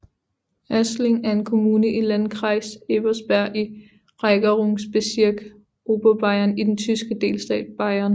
Aßling er en kommune i Landkreis Ebersberg i Regierungsbezirk Oberbayern i den tyske delstat Bayern